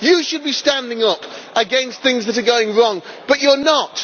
You should be standing up against things that are going wrong, but you are not.